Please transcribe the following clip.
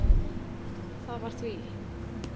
Það var því